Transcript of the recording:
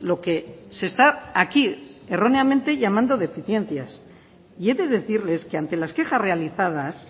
lo que se está aquí erróneamente llamando deficiencias y he de decirles que ante las quejas realizadas